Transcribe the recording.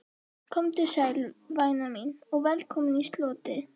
Komdu sæl, væna mín, og velkomin í slotið.